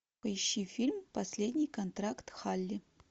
поищи фильм последний контракт халли